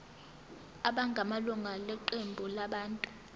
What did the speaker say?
abangamalunga eqembu labantu